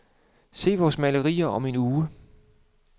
Se vores maleri om en uge.